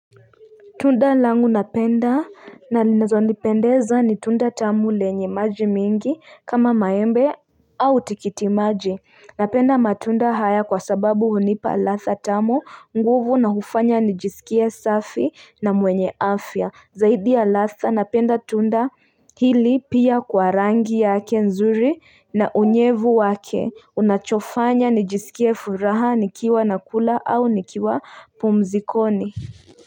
Tunda langu napenda na linazonipendeza ni tunda tamu lenye maji mingi kama maembe au tikiti maji Napenda matunda haya kwa sababu hunipa ladha tamu nguvu na hufanya nijisikie safi na mwenye afya Zaidi ya ladha napenda tunda hili pia kwa rangi yake nzuri na unyevu wake Unachofanya nijisikie furaha nikiwa nakula au nikiwa pumzikoni.